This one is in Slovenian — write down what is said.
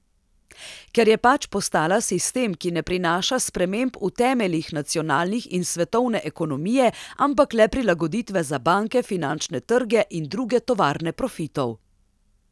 Ker je pač postala sistem, ki ne prinaša sprememb v temeljih nacionalnih in svetovne ekonomije, ampak le prilagoditve za banke, finančne trge in druge tovarne profitov.